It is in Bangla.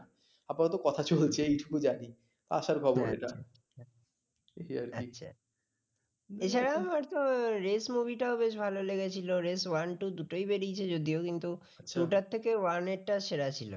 এছাড়াও মোটকথা race movie খুব ভালো লেগেছিল race one two দুটোই বেরিয়েছে যদিও কিন্তু two থেকে আচ্ছা two টার থেকে one টা সেরা ছিল